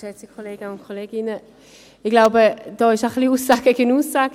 Ich glaube, hier steht Aussage gegen Aussage.